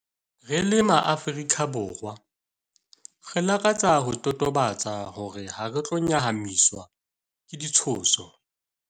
Re le MaAfrika Borwa, re lakatsa ho totobatsa hore hare tlo nyahamiswa ke ditshoso.